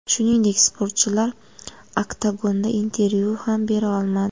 Shuningdek, sportchilar oktagonda intervyu ham bera olmadi.